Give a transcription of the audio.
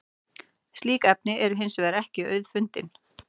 slík efni eru hins vegar ekki auðfundin